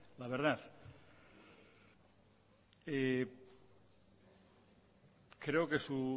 la verdad creo que su